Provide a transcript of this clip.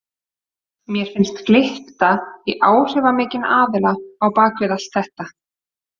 Mér finnst glytta í áhrifamikinn aðila á bak við allt þetta.